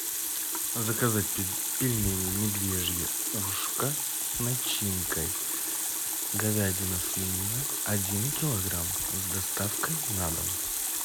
заказать пельмени медвежье ушко с начинкой говядина свинина один килограмм с доставкой на дом